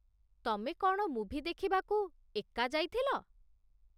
ତମେ କ'ଣ ମୁଭି ଦେଖିବାକୁ ଏକା ଯାଇଥିଲ?